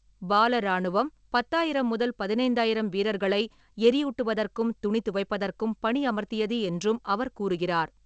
பால இராணுவம் பத்தாயிரம் முதல் பதினைந்தாயிராம் வீரர்களை எரியூட்டுவதற்கும் துணி துவைப்பதற்கும் பணியமர்த்தியது என்றும் அவர் கூறுகிறார்.